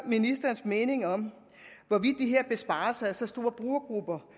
ministerens mening om hvorvidt de her besparelser for så store brugergrupper